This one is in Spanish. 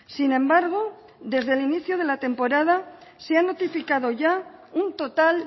sin embargo desde el inicio de la temporada se han notificado ya un total